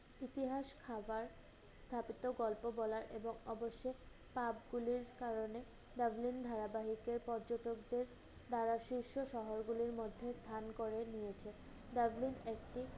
ইতিহাস খাবার তারপর তো গল্প বলার এদের আবশ্যক। Pub গুলির কারনে tumbling ধারাবাহিকের পর্যটকদের দ্বারা শীর্ষ শহরগুলোর মধ্যে স্থান করে নিয়েছে। tumbling একটি